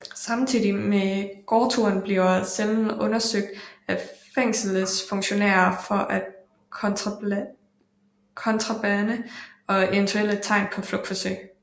Samtidig med gårdturen bliver cellen undersøgt af fængselsfunktionærer for kontrabande og eventuelle tegn på flugtforsøg